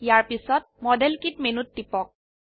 ইয়াৰ পিছত model kit মেনুত টিপক